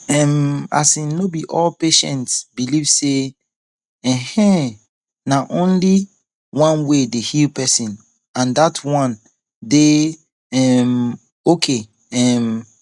um asin no be all patients believe say[um]na one way dey heal person and and dat one dey um ok um